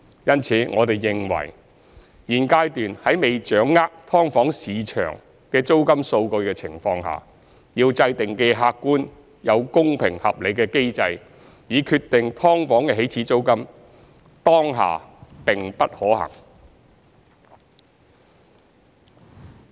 因此，我們認為現階段在未掌握"劏房"市場的租金數據的情況下，要制訂既客觀又公平合理的機制以決定"劏房"起始租金，當下並不可行。